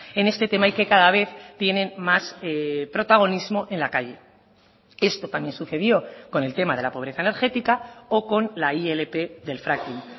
en este tema y que cada vez tienen más protagonismo en la calle esto también sucedió con el tema de la pobreza energética o con la ilp del fracking